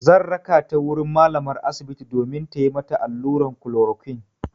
Zan raka ta wurin malamar asibiti domin tayi mata allurar klorokwin.